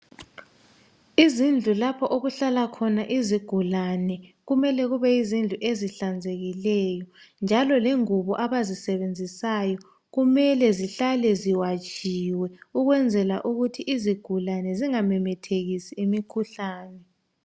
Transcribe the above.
Izindlu lapha okuhlala khona izigulani kumele kube yizindlu ezihlanzekileyo njalo lengubo abazi sebenzisayo kumele zihlale ziwatshiwe ukwenzala ukuthi izigulane zingamemethekisi imikhuhlane